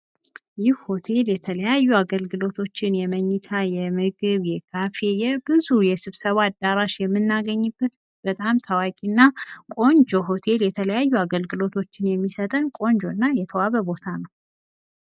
ይህ ሆቴል የተለያዩ አገልግሎቶችን የመኝታ፣ የምግብ ፣የካፌ የብዙ የስብሰባ አዳራሽ የምናገኝበት በጣም ታዋቂ እና ቆንጆ ሆቴል የተለያዩ አገልግሎቶችን የሚሰጠን ቆንጆ እና የተዋበ ቦታ ነው።